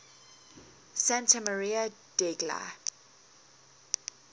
santa maria degli